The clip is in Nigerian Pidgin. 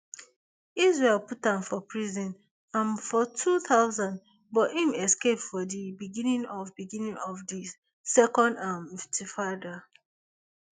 israel put am for prison um for two thousand but im escape for di beginning of beginning of di second um intifada